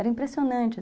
Era impressionante.